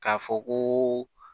K'a fɔ ko